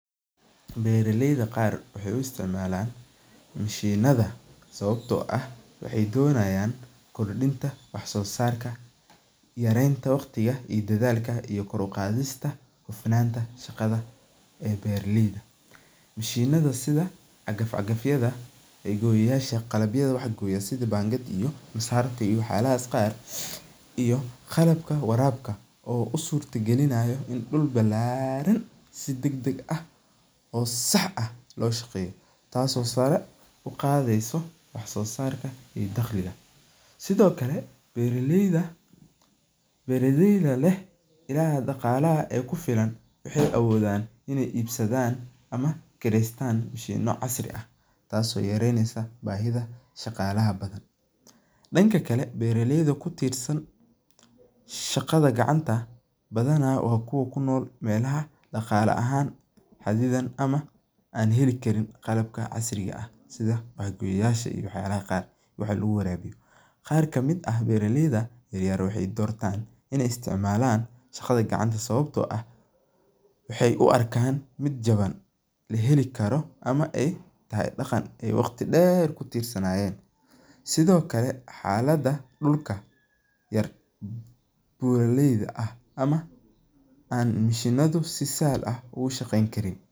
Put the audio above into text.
Bera leyda qar waxee u isticmalan mashinaada sawabto ah waxee donayan kordinta waxso sarka yarenta waqtiga iyo kor u qadhista shaqaada beera leyda, mashinadha si agaf agaf yasha sitha bangadii masarti iyo wax yalaha qaar, qalabka warabka oo u surta galinaya dul balaran oo sax ah oo shaqeyo tasi oo sara u qadheysa wax sosarka bulshaada daqliga eh, sithokale beera leyda leh ilaha daqalaha kufilan waxee awodhan in ee ibsadan mashimo ama ee gatan tas oo yareynesa bahidha shaqalaha, danka kale beera leyda kutirsan shaqaada gacanta ah waa kuwa kunol meelaha daqale ahan ama an heli karin qalabka casriga ah oo wax lagu warabiyo, beera leyda yar yar waxee dortan in ee istimalan shaqaada gacanta sawabto ah waxee u arkan miid jawan ama ee tahay daqan waqti badan kutirsanayen sithokale xalada dulka yar beera leyda ah ama mashinadu si sahlan oga shaqeyni karin.